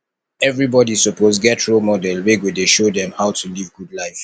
everybodi suppose get role model wey go dey show dem how to live good life